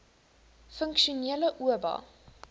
funksionele oba